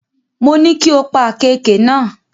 Mo ní kí o pa àkééke náà.